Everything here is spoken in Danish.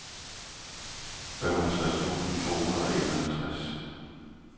femoghalvtreds tusind to hundrede og enoghalvfems